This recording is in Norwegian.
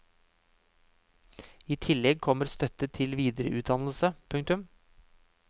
I tillegg kommer støtte til videreutdannelse. punktum